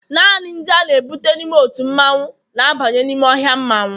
naanị ndị a na-ebute n'ime otu mmanwu, na-abanye n'ime ọhịa mmanwu